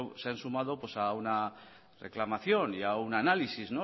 se han sumado a una reclamación y a un análisis